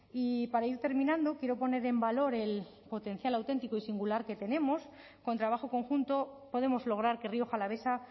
y para ir terminando quiero poner en valor el potencial auténtico y singular que tenemos con trabajo conjunto podemos lograr que rioja alavesa